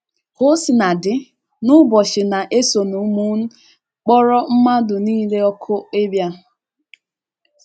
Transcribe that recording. Ka o sina dị, n’ụbọchị na - esonụ m kpọrọ mmadụ nile òkù ịbịa.